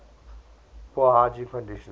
poor hygiene conditions